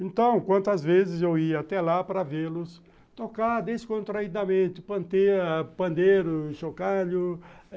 Então, quantas vezes eu ia até lá para vê-los tocar descontraidamente, panter pandeiro, chocalho.